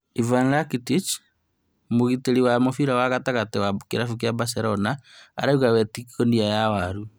Ivan Rakitic, mũgitĩri wa mũbĩra wa gatagatĩ wa kĩrabu kĩa Barcelona arauga we ti ngonia ya waru